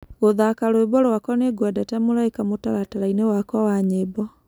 gũthaka rwĩmbo rwakwa nĩngwendete mũraĩka mutarataraini wakwa wa nyĩmbo